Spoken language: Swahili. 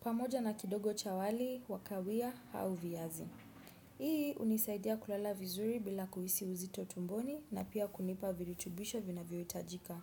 Pamoja na kidogo chawali, wakawia au viazi. Hii unisaidia kulala vizuri bila kuhisi uzito tumboni na pia kunipa virutubisho vinavyo itajika.